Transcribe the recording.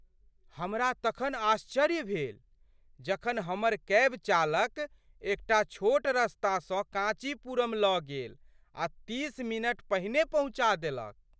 हमरा तखन आश्चर्य भेल जखन हमर कैब चालक एकटा छोट रस्तासँ काँचीपुरम लऽ गेल आ तीस मिनट पहिने पहुँचा देलक!